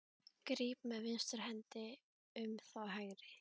Gríp með vinstri hendi um þá hægri.